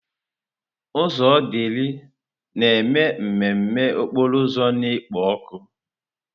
Ụzọ Odili na-eme mmemme okporo ụzọ na-ekpo ọkụ.